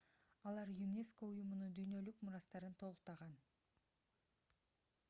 алар юнеско уюмунун дүйнөлүк мурастарын толуктаган